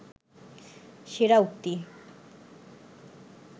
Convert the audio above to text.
সেরা উক্তি